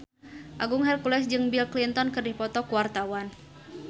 Agung Hercules jeung Bill Clinton keur dipoto ku wartawan